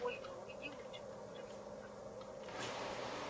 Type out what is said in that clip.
ольга уйди лучше глубже в сумрак